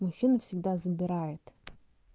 мужчина всегда забирает